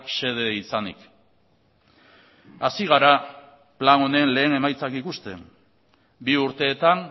xede izanik hasi gara plan honen lehen emaitzak ikusten bi urteetan